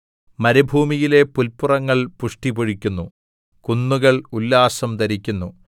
മരുഭൂമിയിലെ പുല്പുറങ്ങൾ പുഷ്ടിപൊഴിക്കുന്നു കുന്നുകൾ ഉല്ലാസം ധരിക്കുന്നു